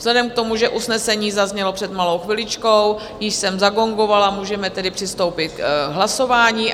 Vzhledem k tomu, že usnesení zaznělo před malou chviličkou, již jsem zagongovala, můžeme tedy přistoupit k hlasování.